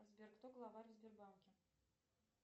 сбер кто главарь в сбербанке